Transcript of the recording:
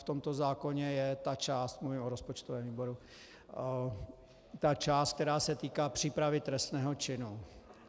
V tomto zákoně je ta část, mluvím o rozpočtovém výboru, ta část, která se týká přípravy trestného činu.